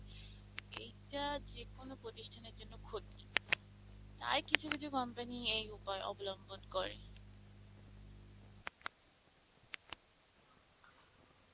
এইটা যে কোনো প্রথিস্থানের জন্য ক্ষতি, তাই কিছু কিছু company এই উপায় অবলম্বন করে